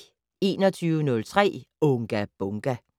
21:03: Unga Bunga!